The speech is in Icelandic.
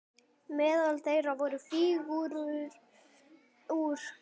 Meðal þeirra voru fígúrur úr